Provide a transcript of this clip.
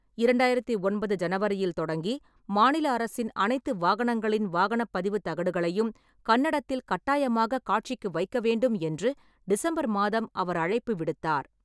இரண்டாயிரத்து ஒன்பது ஜனவரியில் தொடங்கி, மாநில அரசின் அனைத்து வாகனங்களின் வாகனப் பதிவுத் தகடுகளையும் கன்னடத்தில் கட்டாயமாக காட்சிக்கு வைக்க வேண்டும் என்று டிசம்பர் மாதம் அவர் அழைப்பு விடுத்தார்.